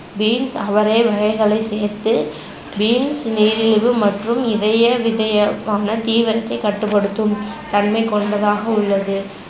beans, அவரை வகைகளை சேர்த்து beans நீரிழிவு மற்றும் இதய விதயமான தீவிரத்தை கட்டுப்படுத்தும் தன்மைகொண்டதாக உள்ளது